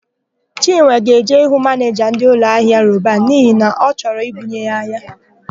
Chinwe ga-eje ịhụ manịja ndị ụlọahịa Roban n'ihi na ọ chọro I bunye ha ahịa.